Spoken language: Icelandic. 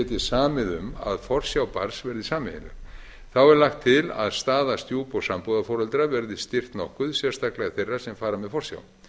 geti samið um að forsjá barns verði sameiginleg þá er lagt til að staða stjúp og sambúðarforeldra verði styrkt nokkuð sérstaklega þeirra sem fara með forsjá